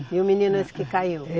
E o menino é esse que caiu?